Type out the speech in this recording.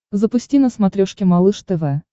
запусти на смотрешке малыш тв